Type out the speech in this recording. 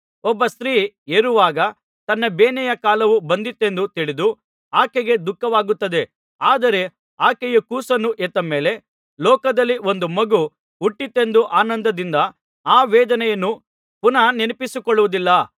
ಒಬ್ಬ ಸ್ತ್ರೀ ಹೆರುವಾಗ ತನ್ನ ಬೇನೆಯ ಕಾಲವು ಬಂದಿತೆಂದು ತಿಳಿದು ಆಕೆಗೆ ದುಃಖವಾಗುತ್ತದೆ ಆದರೆ ಆಕೆಯು ಕೂಸನ್ನು ಹೆತ್ತ ಮೇಲೆ ಲೋಕದಲ್ಲಿ ಒಂದು ಮಗು ಹುಟ್ಟಿತೆಂದು ಆನಂದದಿಂದ ಆ ವೇದನೆಯನ್ನು ಪುನಃ ನೆನಸಿಕೊಳ್ಳುವುದಿಲ್ಲ